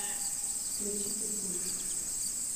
включи питбуль